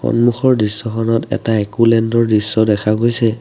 সন্মুখৰ দৃশ্যখনত এটা এক'লেণ্ড ৰ দৃশ্য দেখা গৈছে।